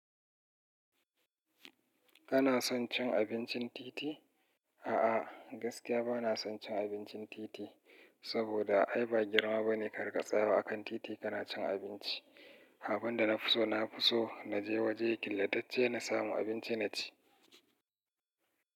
Kana son cin abincin titi? A'a, gaskiya bana son cin abincin titi, saboda ai ba girma bane kari ka tsaya wa akan titi kana cin abinci. Abin da na fi so, na fi so na je waje killatacce na samu abinci na ci.